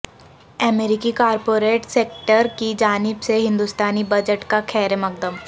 امریکی corporate sector کی جانب سے ہندوستانی بجٹ کا خیرمقدم